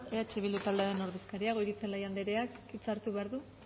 eh bildu taldearen ordezkaria goirizelaia andreak hitza hartu behar du